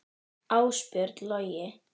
Ásbjörn Logi.